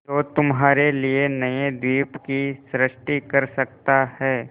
जो तुम्हारे लिए नए द्वीप की सृष्टि कर सकता है